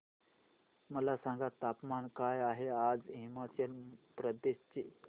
मला सांगा तापमान काय आहे आज हिमाचल प्रदेश चे